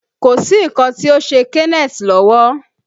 Kò sí nǹkan tí ó ṣe Kenneth lọ́wọ́